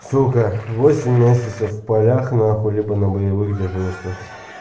сука восемь месяцев в полях на хуй либо на боевых дежурствах